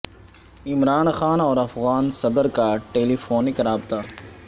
عمران خان اور افغان صدر کا ٹیلی فونک رابطہ